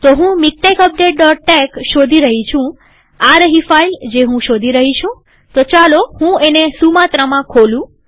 તો હું મિકટેક્સ updateટેક્સ શોધી રહી છુંઆ રહી ફાઈલ જે હું શોધી રહી છુંતો ચાલુ હું એને સુમાત્રામાં ખોલું